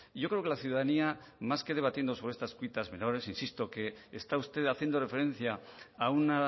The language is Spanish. yo creo que la ciudadanía más que debatiendo sobre estas pitas menores insisto que está usted haciendo referencia a un